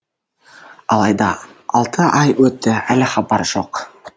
алайда алты ай өтті әлі хабар жоқ